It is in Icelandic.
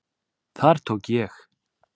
Þar tók ég